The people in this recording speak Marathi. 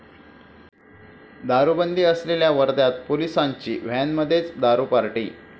दारुबंदी असलेल्या वर्ध्यात पोलिसांची व्हॅनमध्येच दारू पार्टी